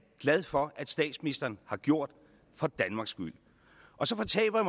glad for at statsministeren har gjort for danmarks skyld og så fortaber